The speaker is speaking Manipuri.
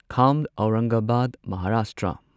ꯈꯥꯝ ꯑꯧꯔꯪꯒꯕꯥꯗ ꯃꯍꯥꯔꯥꯁꯇ꯭ꯔ